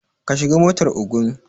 Ka shiga motar Ogun